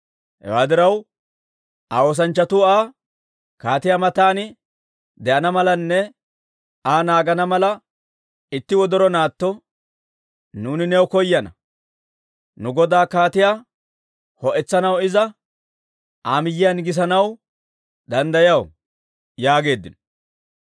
Hewaa diraw, Aa oosanchchatuu Aa, «Kaatiyaa matan de'ana malanne Aa naagana mala, itti wodoro naatto nuuni new koyana; nu godaa kaatiyaa ho'etsanaw iza Aa miyiyaan gisanaw danddayaw» yaageeddino.